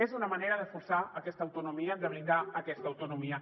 és una manera de forçar aquesta autonomia de blindar aquesta autonomia